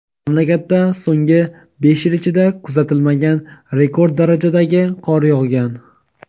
Mamlakatda so‘nggi besh yil ichida kuzatilmagan rekord darajadagi qor yog‘gan.